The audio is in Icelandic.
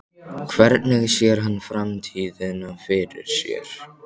Hvernig sér hann framtíðina fyrir sér?